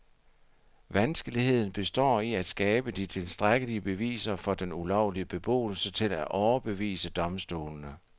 Vanskeligheden består i at skabe de tilstrækkelige beviser for den ulovlige beboelse til at overbevise domstolene.